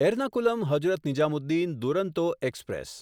Ernakulam Hazrat Nizamuddin Duronto express